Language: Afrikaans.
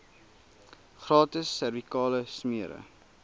gratis servikale smere